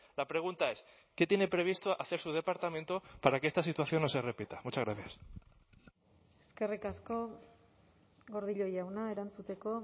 la pregunta es qué tiene previsto hacer su departamento para que esta situación no se repita muchas gracias eskerrik asko gordillo jauna erantzuteko